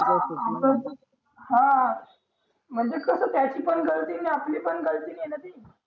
हां म्हणजे कसं त्याची पण आणि आपली पण आहे ना ती